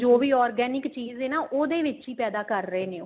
ਜੋ ਵੀ organic ਚੀਜ਼ ਏ ਨਾ ਉਹਦੇ ਵਿਚੇ ਹੀ ਪੈਦਾ ਕਰ ਰਹੇ ਨੇ ਉਹ